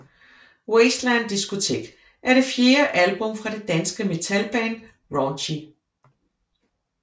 Wasteland Discotheque er det fjerde album fra det danske metalband Raunchy